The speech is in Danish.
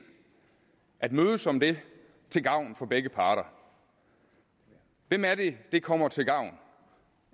at mødes om det til gavn for begge parter hvem er det det kommer til gavn